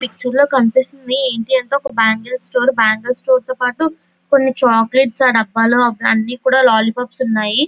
ఇ picture లో కనిపిస్తుంది ఏంటి అంటే ఒక బ్యాంగిల్ స్టోర్ బ్యాంగిల్ స్టోర్ తో పాటు కొన్ని చాకోలెట్స్ ఆ డబ్బాలో అవన్నీ కూడా లాలీ పప్స్ ఉన్నాయి.